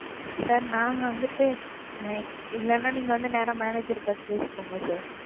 Sir நாங்க வந்துட்டு இல்லைன்னா நீங்க வந்து நேரா Manager ஐ பாத்து பேசிக்கோங்க Sir,